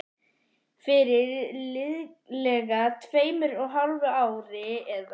Fyrir liðlega tveimur og hálfu ári, eða